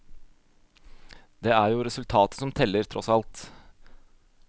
Det er jo resultatet som teller, tross alt.